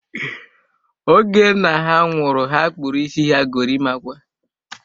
Oge nna ha nwụrụ, ha kpụrụ isi ha gorimakwa